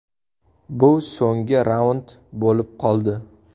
Bu so‘nggi raund bo‘lib qoldi.